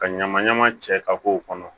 Ka ɲama ɲama cɛ ka k'o kɔnɔ